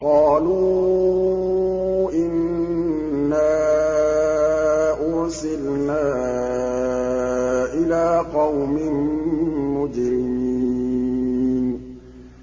قَالُوا إِنَّا أُرْسِلْنَا إِلَىٰ قَوْمٍ مُّجْرِمِينَ